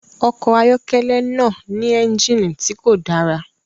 Ọkọ̀ ayọ́kẹ́lẹ́ náà ní ẹ́ńjìnnì tí kò dára